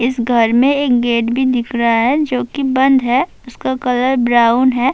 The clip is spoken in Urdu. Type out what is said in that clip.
اس گھر میں ایک گیٹ بھی دکھ رہا ہے جو کہ بند ہے اس کا کلر براؤن ہے-